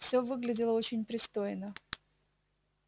все выглядело очень пристойно